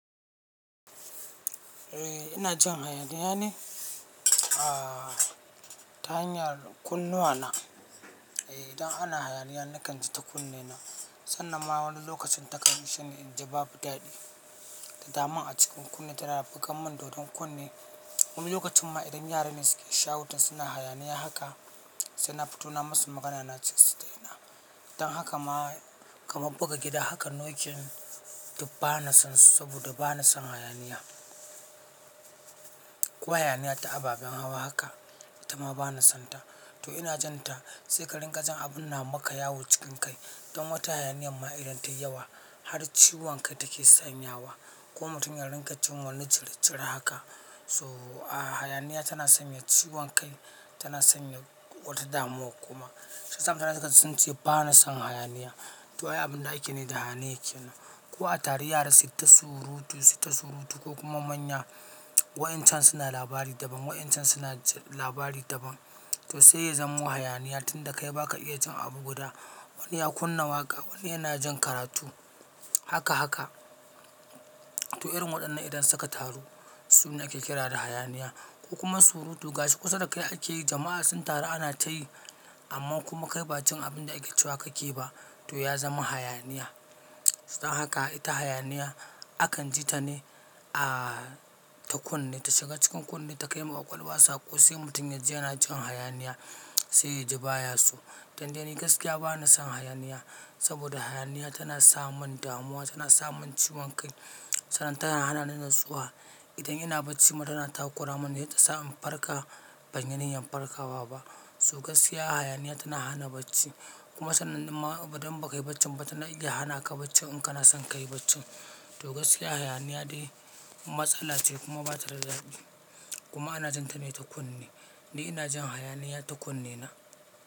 Eh ina jin hayaniya ne? Aaa ta hanyar kunnuwana. Eh idan ana hayaniya nakan ji ta kunne na. Sannan ma wani lokacin ta kan yi shine in ji babu daɗi. Da dama a cikin kunne tana bugan mun dodon kunne. Wani lokacin ma idan yaran ne suke shouting suna hayaniya haka, sai na fito na masu magana na ce su daina. Dan haka ma kamar buga gida haka knocking duk bana son su saboda bana son hayaniya ko hayaniya ta ababen hawa haka, ita ma bana sonta. To ina jin ta sai ka ringa jin abun na maka yawo cikin kai. Don wata hayaniya ma idan tayi yawa har ciwon kai take sanya wa. Ko mutum ya ringa jin wani jiri-jiri haka. So aaaa hayaniya tana sanya ciwon kai, tana sanya wata damuwa kuma. Shi yasa mutane za su ce bana son hayaniya. To ai abun da ake ne da hayaniya ke nan. Ko a taru yara suyi ta surutu, suyi ta surutu ko kuma manya wa'incan suna labari daban, wa'incan suna labari daban. To sai ya zama hayaniya tunda kai baka iya ji abu guda. Wani ya kunna waƙa, wani yana jin karatu haka haka. To irin waɗannan idan suka taru su ne ake kira da hayaniya. Ko kuma surutu gashi kusa da kai ake yi jama'a sun taru ana tayi amma kuma kai ba jin abin da ake cewa kake yi ba to ya zama hayaniya. Dan haka ita hayaniya akan ji ta ne aaaa ta kunne, ta shiga cikin kunne ta kai ma ƙwaƙwalwa sako sai mutum yaji yana jin hayaniya sai ya ji baya si. Dan dai ni gaskiya bana son hayaniya saboda hayaniya tana sa mun damuwa, tana sa mun ciwon kai sannan tana hana ni natsuwa. Idan ina bacci mutum yana takura mun sai ta sa in farka ban yi niyyan farkawa ba. To gaskiya hayaniya ta na hana bacci kuma sannan din ma idan bakai bacci ba tanan iya hana ka bacci in kana son kayi bacci. To gaskiya hayaniya dai matsala ce kuma ba ta da daɗi. Kuma ana jin ta ne ta kunne. Ni ina jin hayaniya ta kunne na.